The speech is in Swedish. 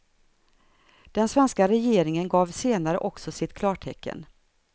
Den svenska regeringen gav senare också sitt klartecken.